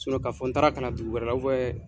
ka fɔ n taara kalan dugu wɛrɛ